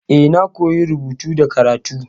E, na koyi rubutu da karatu.